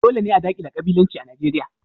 Dole ne a dakile ƙabilanci a Nijeriya.